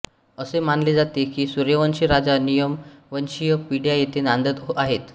असे मानले जाते की सूर्यवंशी राजा निकमवंशीय पिढ्या येथे नांदत आहेत